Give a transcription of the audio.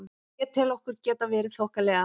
Ég tel okkur geta verið þokkalega.